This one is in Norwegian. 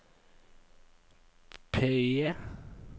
PIE